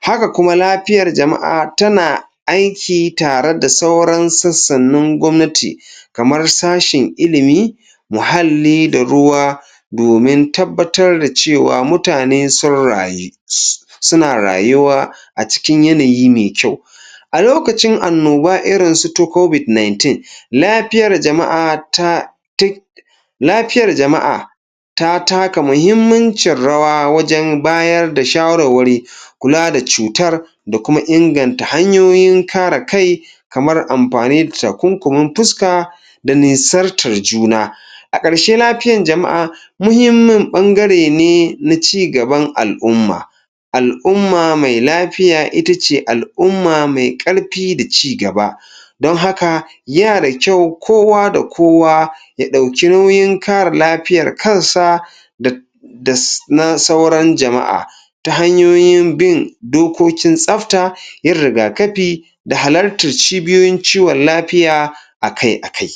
haka kuma lapiyar jama'a tana aiki tare da sauran sassanun gwamnati kamar sashin ilimi muhalli da ruwa domin tabbatar da cewa mutane sun rayu suna rayuwa a cikin yanayi me kyau a lokacin annoba irin su ta lapiyar jama'a ta lapiyar jama'a ta taka muhimmincin rawa wajen bayar da shawarwari kula da cutar da kuma inganta hanyoyin kare kai kamar ampani da takunkumin puska da nisartar juna a ƙarshe lapiyar jama'a muhimmin ɓangare ne na cigaban al'umma al'umma mai lapiya itace al'umma mai ƙarpi da cigaba don haka yana da kyau kowa da kowa ya ɗauki nauyin kare lapiyar kansa da das na sauran jama'a ta hanyoyin bin dokokin tsafta, yin rigakapi da halartar cibiyoyin ciwon lapiya a kai a kai.